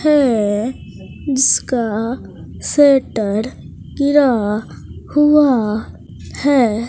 हैं जिसका गिरा हुआ है।